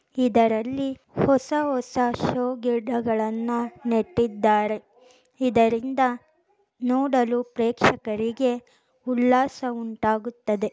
ಇದರಲ್ಲಿಹೊಸ ಹೊಸ ಶೋ ಗಿಡಗಳನ್ನ ನೆಟ್ಟಿದ್ದಾರೆ ಇದರಿಂದ ನೋಡಲು ಪ್ರೇಕ್ಷಕರಿಗೆ ಉಲ್ಲಾಸ ಉಂಟಾಗುತ್ತದೆ.